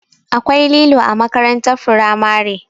Akwai lilo a makarantar firamare.